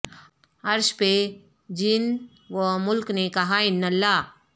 عرش پہ جن و ملک نے کہا انا اللہ